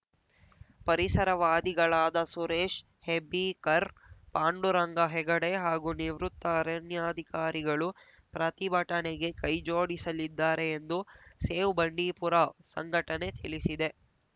ಪರಿಸರವಾದಿಗಳಾದ ಸುರೇಶ್‌ ಹೆಬ್ಳೀಕರ್‌ ಪಾಂಡುರಂಗ ಹೆಗಡೆ ಹಾಗೂ ನಿವೃತ್ತ ಅರಣ್ಯಾಧಿಕಾರಿಗಳು ಪ್ರತಿಭಟನೆಗೆ ಕೈ ಜೋಡಿಸಲಿದ್ದಾರೆ ಎಂದು ಸೇವ್‌ ಬಂಡಿಪುರ ಸಂಘಟನೆ ತಿಳಿಸಿದೆ